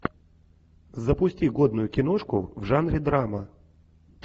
запусти годную киношку в жанре драма